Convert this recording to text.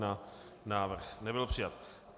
Návrh nebyl přijat.